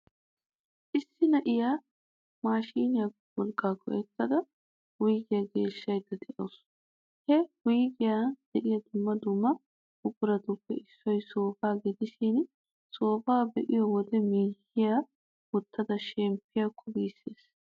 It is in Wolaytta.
Issi na'iyaa maashiniyaa wolqqaa go'ettada wuyigiyaa geeshshydda de'awusu. He wuygiyan de'iyaa dumma dumma buquratuppe issoy soofaa gidishin, soofaa be'iyo wode miyyiyaa wottada sheppiyakko giissees.